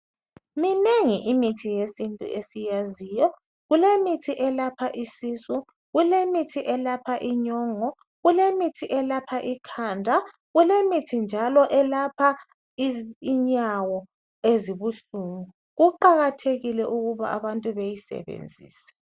Minengi imithi yesintu esiyaziyo. Kulemithi elapha isisu, kulemithi elapha inyongo, kulemithi elapha ikhand kkulemithi njalo elapha inyawo ezibuhlungu. Kuqakathekile ukuba abantu beyisebenzise.